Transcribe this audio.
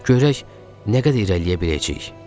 Görək nə qədər irəliləyə biləcəyik.